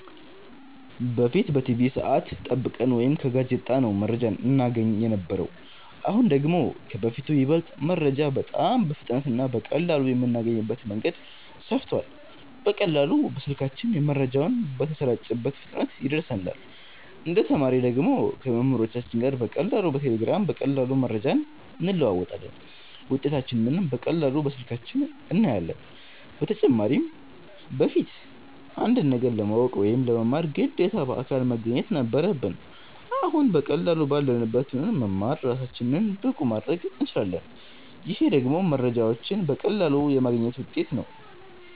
በፊት በቲቪ ሰዐት ጠብቀን ወይ ከጋዜጣ ነው መረጃ እናገኝ የነበረው አሁን ደግሞ ከበፊቱ ይበልጥ መረጃ በጣም በፍጥነት እና በቀላሉ የምናገኝበት መንገድ ሰፍቷል በቀላሉ በስልካችን መረጃው በተሰራጨበት ፍጥነት ይደርሰናል እንደ ተማሪ ደግሞ ከመምህሮቻችን ጋር በቀላሉ በቴሌግራም በቀላሉ መረጃዎችን እንለዋወጣለን ውጤታችንንም በቀላሉ በስልካችን እናያለን በተጨማሪም በፊት አንድን ነገር ለማወቅ ወይ ለመማር ግዴታ በአካል መገኘት ነበረብን አሁን በቀላሉ ባለንበት ሁነን መማር እራሳችንን ብቁ ማረግ እንችላለን ይሄ ደግሞ መረጃዎችን በቀላሉ የማግኘት ውጤት ነው